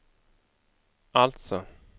alltså